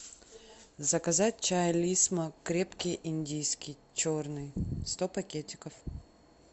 заказать чай лисма крепкий индийский черный сто пакетиков